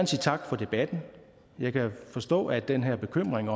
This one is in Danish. sige tak for debatten jeg kan forstå at den her bekymring